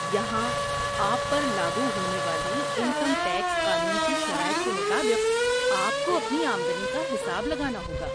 یہاں آپ پر لاگو ہونے والی انکم ٹیکس قانون کی شرائط کے مطابق آپ کو اپنی آمدنی کا حساب لگانا ہوگا۔